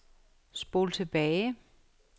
spol tilbage